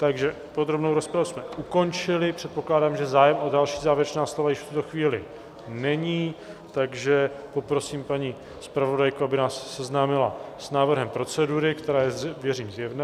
Takže podrobnou rozpravu jsme ukončili, předpokládám, že zájem o další závěrečná slova již v tuto chvíli není, takže poprosím paní zpravodajku, aby nás seznámila s návrhem procedury, která je, věřím, zjevná.